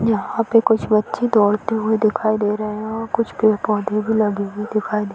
यहा पे कुछ बच्चे दौड़ते हुए दिखाई दे रहे हैं और कुछ पेड़-पौधे भी लगे हुए दिखाई दे --